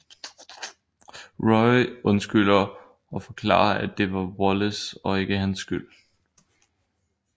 Roy undskylder og forklarer at det var Wallace og ikke hans skyld